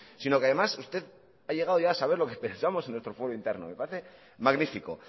sino que además usted ha llegado ya a saber lo que pensamos en nuestro fuero interno me parece magnífico